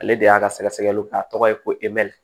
Ale de y'a ka sɛgɛsɛgɛliw kɛ a tɔgɔ ye ko emɛri